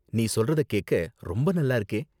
நீ சொல்றத கேக்க ரொம்ப நல்லா இருக்கே!